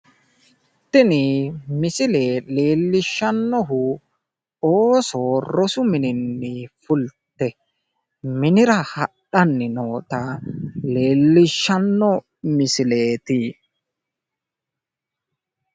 tini misile leellishshannohu Ooso rosu mininni fulte minira hadhanni noota leellisshanno misileeti.